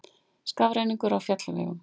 Skafrenningur á fjallvegum